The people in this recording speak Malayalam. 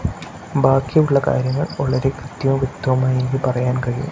ബാക്കിയുള്ള കാര്യങ്ങൾ വളരെ കൃത്യവും വ്യക്തവുമായി എനിക്ക് പറയാൻ കഴിയും.